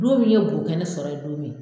Don min ye bokɛnɛ sɔrɔ yen don min!